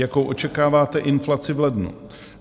Jakou očekáváte inflaci v lednu?